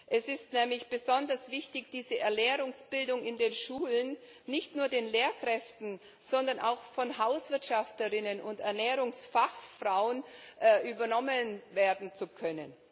Es ist nämlich besonders wichtig, dass diese Ernährungsbildung in den Schulen nicht nur von den Lehrkräften, sondern auch von Hauswirtschafterinnen und Ernährungsfachfrauen übernommen werden kann.